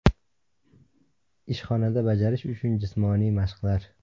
Ishxonada bajarish uchun jismoniy mashqlar .